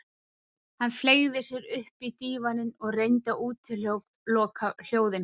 Hann fleygði sér upp í dívaninn og reyndi að útiloka hljóðin frammi.